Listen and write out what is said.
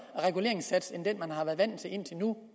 reguleringssats end den man har været vant til indtil nu